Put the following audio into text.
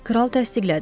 Kral təsdiqlədi.